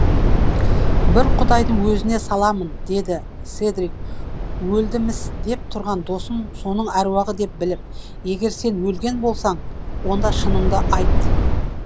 бір құдайдың өзіне саламын деді седрик өлді міс деп тұрған досын соның аруағы деп біліп егер сен өлген болсаң онда шыныңды айт